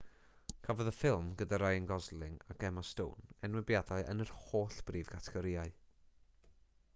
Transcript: cafodd y ffilm gyda ryan gosling ac emma stone enwebiadau yn yr holl brif gategorïau